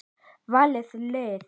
Valið lið.